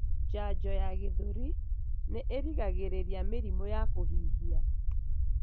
Janjo ya gĩthũri nĩ ĩgiragĩrĩrĩa mĩrimũ ya kũhihia.